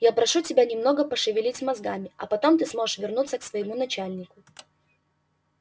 я прошу тебя немного пошевелить мозгами а потом ты сможешь вернуться к своему начальнику